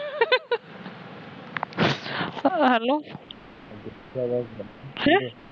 hello